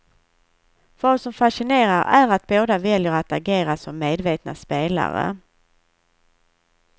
Vad som fascinerar är att båda väljer att agera som medvetna spelare.